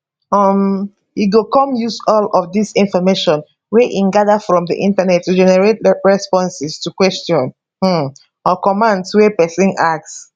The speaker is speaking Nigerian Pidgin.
um e go come use all of dis information wey e gada from di internet to generate responses to questions um or commands wey pesin ask